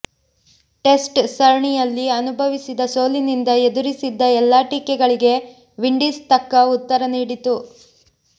test ಸರಣಿಯಲ್ಲಿ ಅನುಭವಿಸಿದ ಸೋಲಿನಿಂದ ಎದುರಿಸಿದ್ದ ಎಲ್ಲಾ ಟೀಕೆಗಳಿಗೆ ವಿಂಡೀಸ್ ತಕ್ಕ ಉತ್ತರ ನೀಡಿತು